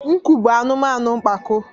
nku bụ anụmanụ mpako